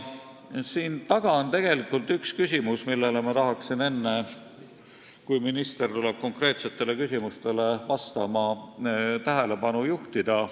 Siin taga on tegelikult üks küsimus, millele ma tahan enne, kui minister tuleb siia konkreetsetele küsimustele vastama, tähelepanu juhtida.